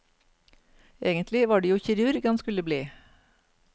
Egentlig var det jo kirurg han skulle bli.